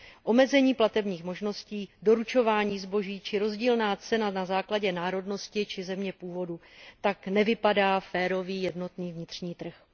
Omezení platebních možností, doručování zboží či rozdílná cena na základě národnosti či země původu tak nevypadá férový jednotný vnitřní trh.